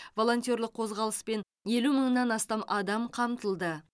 волонтерлік қозғалыспен елу мыңнан астам адам қамтылды